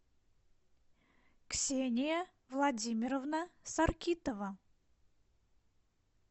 ксения владимировна саркитова